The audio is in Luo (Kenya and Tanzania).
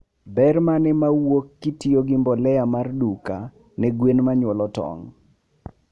Ber mane mawuok kitiyo gi mbolea mar duka ne gwen manyuolo tong?